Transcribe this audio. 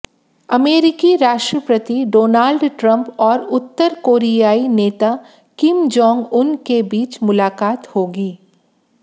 अमेरिकी राष्ट्रपति Donald Trump और उत्तर कोरियाई नेता किम जोंग उन के बीच मुलाकात होगी